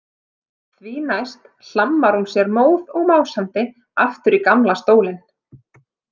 Því næst hlammar hún sér móð og másandi aftur í gamla stólinn.